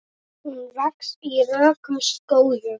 Hún vex í rökum skógum.